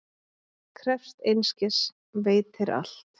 Krefst einskis, veitir allt.